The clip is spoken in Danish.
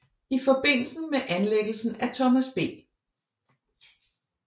I forbindelse med anlæggelsen af Thomas B